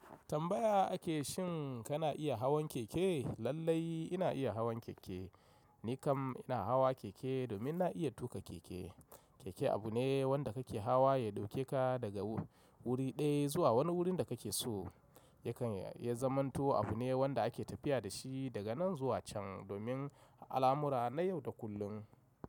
Tambaya ake shin kana iya hawan keke? Lallai ina iya hawan keke. Ni kam ina hawa keke domin na iya tuka keke. Keke abu ne wanda kake hawa ya ɗauke ka daga wuri ɗaya zuwa wani wurin da kake so. Yakan ya zamanto abu ne wanda ake tafiya da shi daga nan zuwa can domin alamura na yau da kullum.